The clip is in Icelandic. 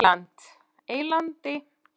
Eylandi